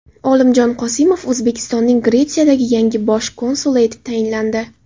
Olimjon Qosimov O‘zbekistonning Gretsiyadagi yangi bosh konsuli etib tayinlandi.